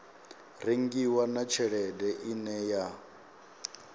rengiwa na tshelede ine ya